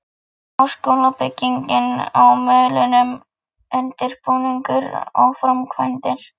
Háskólabyggingin á Melunum- undirbúningur og framkvæmdir